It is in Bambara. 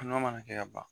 Nɔnɔ mana kɛ ka ban